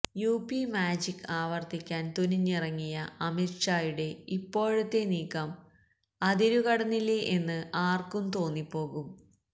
UP magic ആവര്ത്തിക്കാന് തുനിഞ്ഞിറങ്ങിയ അമിത്ഷായുടെ ഇപ്പോഴത്തെ നീക്കം അതിരു കടന്നില്ലേ എന്ന് ആര്ക്കും തോന്നിപ്പോകും